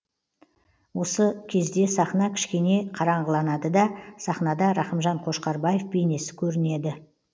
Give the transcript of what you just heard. осы кезде сахна кішкене қараңғыланады да сахнада рақымжан қошқарбаев бейнесі көрінеді